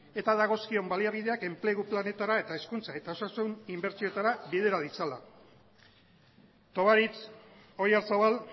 eta dagozkion baliabideak enplegu planetara eta hezkuntza eta osasun inbertsioetara bidera ditzala tovarich oyarzabal